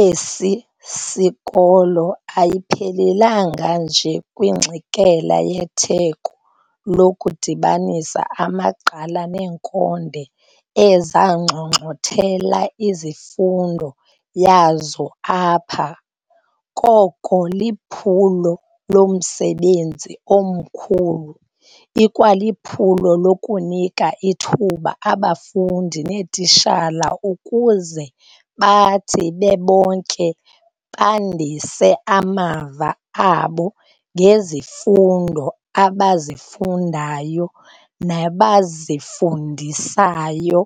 esi sikolo ayiphelelanga nje kwingxikela yetheko lokudibanisa amaqgala neenkonde ezanxonxothela imfundo yazo apha, koko liphulo lomsebenzi omkhulu, ikwaliphulo lokunika ithuba abafundi neetitshala ukuze bathi bebonke bandise amava abo ngezifundo abazifundayo nabazifundisayo,